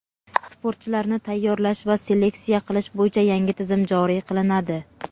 Sportchilarni tayyorlash va seleksiya qilish bo‘yicha yangi tizim joriy qilinadi.